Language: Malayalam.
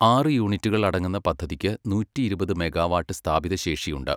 ആറ് യൂണിറ്റുകൾ അടങ്ങുന്ന പദ്ധതിക്ക് നൂറ്റിഇരുപത് മെഗാവാട്ട് സ്ഥാപിത ശേഷിയുണ്ട്.